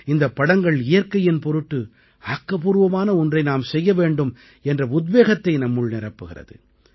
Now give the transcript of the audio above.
இந்தப் படங்கள் இயற்கையின் பொருட்டு ஆக்கப்பூர்வமான ஒன்றை நாம் செய்ய வேண்டும் என்ற உத்வேகத்தை நம்முள் நிரப்புகிறது